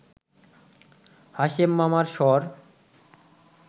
হাশেম মামার স্বর